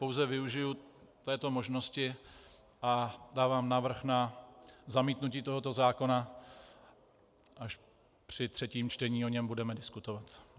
Pouze využiji této možnosti a dávám návrh na zamítnutí tohoto zákona, až při třetím čtení o něm budeme diskutovat.